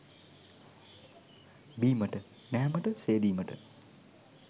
බීමට නෑමට, සේදීමට